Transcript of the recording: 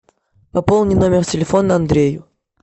пополни номер телефона андрею